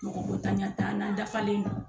Mɔgɔko ntanya t'an na an dafalen don